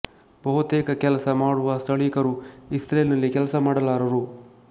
ಬಹುತೇಕ ಕೆಲಸ ಮಾಡುವ ಸ್ಥಳೀಕರು ಇಸ್ರೇಲ್ ನಲ್ಲಿ ಕೆಲಸ ಮಾಡಲಾರರು